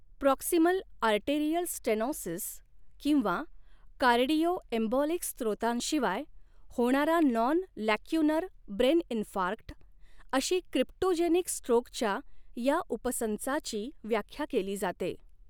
Proximal arterial stenosis किंवा cardioembolic स्त्रोतांशिवाय होणारा नॉन लॅक्युनर ब्रेन इन्फार्क्ट, अशी क्रिप्टोजेनिक स्ट्रोकच्या ह्या उपसंचाची व्याख्या केली जाते.